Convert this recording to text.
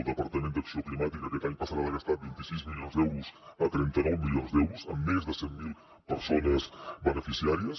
el departament d’acció climàtica aquest any passarà de gastar vint sis milions d’euros a trenta nou milions d’euros amb més de cent mil persones beneficiàries